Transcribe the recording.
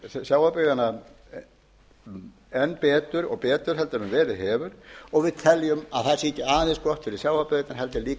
sjávarbyggðanna enn betur og betur en verið hefur og við teljum að það sé ekki aðeins gott fyrir sjávarbyggðirnar heldur líka að